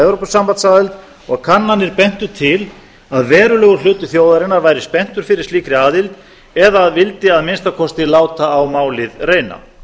evrópusambandsaðild og kannanir bentu til að verulegur hluti þjóðarinnar væri spenntur fyrir slíkri aðild eða vildi að minnsta kosti láta á málið reyna